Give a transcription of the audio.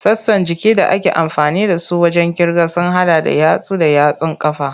Sassan jikin da ake amfani da su wajen kirga sun hada da yatsu da yatsun ƙafa.